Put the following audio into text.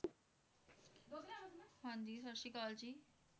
ਹਾਂਜੀ ਸਤਿ ਸ਼੍ਰੀ ਅਕਾਲ ਜੀ